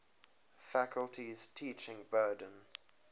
faculty's teaching burden